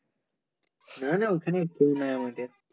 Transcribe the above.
না না ওখানে কেও নাই আমাদের